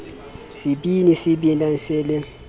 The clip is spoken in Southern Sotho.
sebini se binang se le